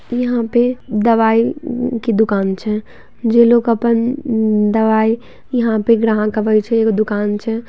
यहां पे दवाई के दुकान छै जे लोक अपन दवाई यहां पे ग्राहक आवे छै एगो दुकान छै।